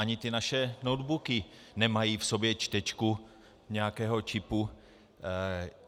Ani ty naše notebooky nemají v sobě čtečku nějakého čipu.